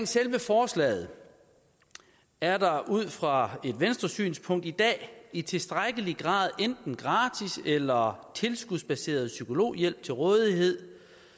selve forslaget er der ud fra et venstresynspunkt i dag i tilstrækkelig grad enten gratis eller tilskudsbaseret psykologhjælp til rådighed